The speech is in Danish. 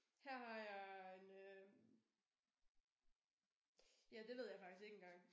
Her har jeg en øh ja det ved jeg faktisk ikke engang